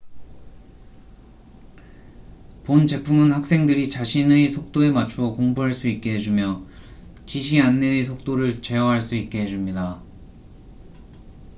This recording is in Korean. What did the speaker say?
본 제품은 학생들이 자신의 속도에 맞추어 공부할 수 있게 해주며 지시 안내의 속도를 제어할 수 있게 해 줍니다